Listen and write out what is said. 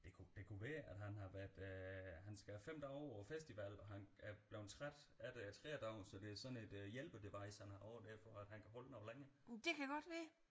Det kunne det kunne være at han har været øh han skal have 5 dage på festivalen og han er blevet træt af det tredjedagen så det er sådan et hjælpe device han har på så han kan holde noget længere